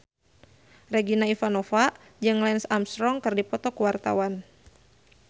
Regina Ivanova jeung Lance Armstrong keur dipoto ku wartawan